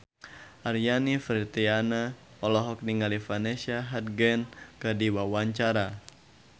Aryani Fitriana olohok ningali Vanessa Hudgens keur diwawancara